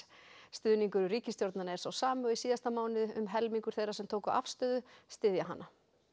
stuðningur við ríkisstjórnina er sá sami og í síðasta mánuði um helmingur þeirra sem tóku afstöðu styður hana